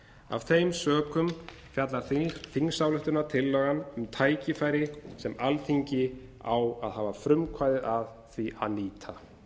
af þeim sökum fjallar þingsályktunartillagan um tækifæri sem alþingi á að hafa frumkvæði að því að nýta